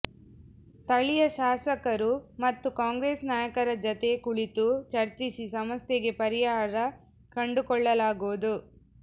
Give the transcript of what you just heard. ಸ್ಥಳೀಯ ಶಾಸಕರು ಮತ್ತು ಕಾಂಗ್ರೆಸ್ ನಾಯಕರ ಜತೆ ಕುಳಿತು ಚರ್ಚಿಸಿ ಸಮಸ್ಯೆಗೆ ಪರಿಹಾರ ಕಂಡುಕೊಳ್ಳಲಾಗುವುದು